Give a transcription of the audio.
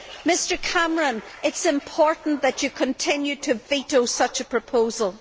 Mr Cameron, it is important that you continue to veto such a proposal.